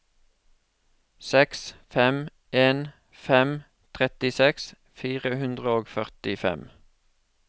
seks fem en fem trettiseks fire hundre og førtifem